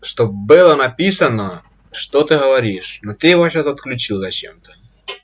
чтоб было написано что ты говоришь но ты его сейчас отключил зачем-то